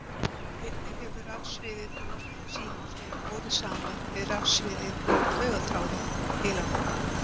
Einnig hefur rafsviðið frá loftneti símans verið borið saman við rafsviðið á taugaþráðum í heilanum.